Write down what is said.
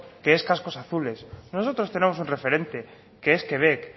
que es cascos azules nosotros tenemos un referente que es quebec